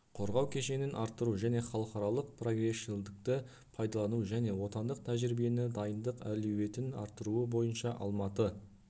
қорғау кешенін арттыру және халықаралық прогрессшілдікті пайдалану және отандық тәжірибені дайындық әлеуетін арттыруы бойынша алматы